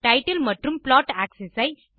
title மற்றும் plot axis ஐ